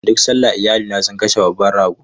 Duk sallah, iyalina sun kashe babban rago.